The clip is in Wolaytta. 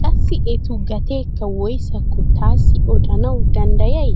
qassi etu gateekka woyssakko taassi odanawu danddayay?